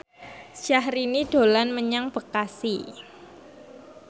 Syahrini dolan menyang Bekasi